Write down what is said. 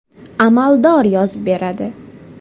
Amaldor yozib beradi.